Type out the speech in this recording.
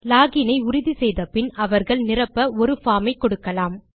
login ஐ உறுதி செய்த பின் அவர்கள் நிரப்ப ஒரு பார்ம் ஐ கொடுக்கலாம்